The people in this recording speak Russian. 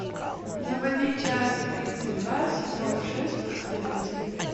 заводи часть тридцать два сезона шесть последователи